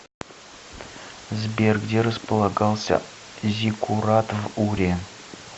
сбер где располагался зиккурат в уре